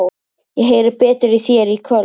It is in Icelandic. Ég heyri betur í þér í kvöld.